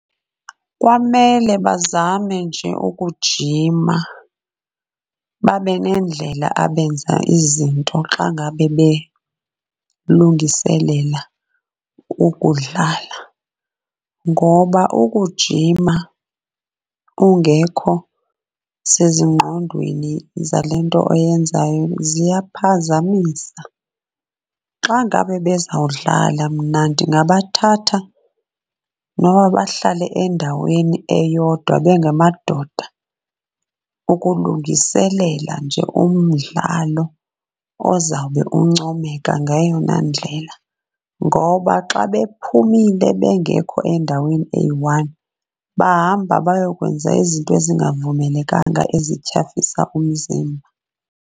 Kwamele bazame nje ukujima babe nendlela abenza izinto xa ngabe belungiselela ukudlala, ngoba ukujima ungekho sezingqondweni zale nto oyenzayo ziyaphazamisa. Xa ngabe bezawudlala mna ndingabathatha noba bahlale endaweni eyodwa bengamadoda ukulungiselela nje umdlalo ozawube uncomeka ngayona ndlela, ngoba xa bephumile bengekho endaweni eyi-one, bahamba bayokwenza izinto ezingavumelekanga ezityhafisa umzimba.